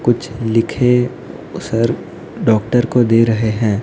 कुछ लिखे sir doctor को दे रहे है।